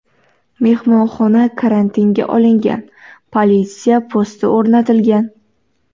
Mehmonxona karantinga olingan, politsiya posti o‘rnatilgan.